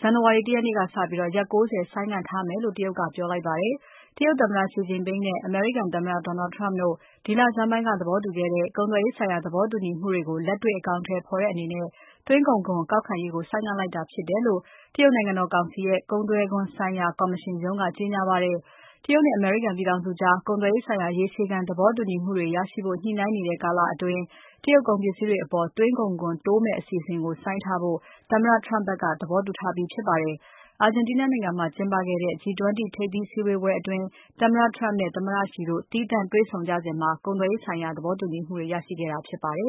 ဇန်နဝါရီလ ၁ ရက်နေ့ကစပြီး ရက် ၉၀ ဆိုင်းငံ့ထားမယ်လို့ တရုတ်က ပြောလိုက်ပါတယ်။ တရုတ်သမ္မတ Xi Jinping နဲ့ အမေရိကန်သမ္မတ Donald Trump တို့ ဒီလဆန်းပိုင်းက သဘောတူခဲ့တဲ့ ကုန်သွယ်ရေးဆိုင်ရာ သဘောတူညီမှုတွေကို လက်တွေ့ အကောင်အထည်ဖော်တဲ့အနေနဲ့ သွင်းကုန်ခွန်ကောက်ခံရေးကို ဆိုင်းငံ့လိုက်တာဖြစ်တယ်လို့ တရုတ်နိုင်ငံတော်ကောင်စီရဲ့ ကုန်သွယ်ခွန်ဆိုင်ရာ ကော်မရှင်ရုံးက ကြေညာပါတယ်။ တရုတ်နဲ့ အမေရိကန်ပြည်ထောင်စုကြား ကုန်သွယ်ရေးဆိုင်ရာ ရေရှည်ခံသဘောတူညီမှုတွေရဖို့ ညှိုနှိုင်းနေတဲ့ကာလအတွင်း တရုတ်ကုန်ပစ္စည်းတွေအပေါ် သွင်းကုန်ခွန်တိုးမယ့်အစီအစဉ်ကို ဆိုင်းထားဖို့ သမ္မတ Trump ဖက်က သဘောတူထားပြီးဖြစ်ပါတယ်။ အာဂျင်တီးနားနိုင်ငံမှာကျင်းပခဲ့တဲ့ G20 ထိပ်သီးစည်းဝေးပွဲအတွင်း သမ္မတ Trump နဲ့ သမ္မတ Xi တို့ သီးသန့်တွေ့ဆုံကြစဉ် ကုန်သွယ်ရေးဆိုင်ရာ သဘောတူခဲ့ကြတာဖြစ်ပါတယ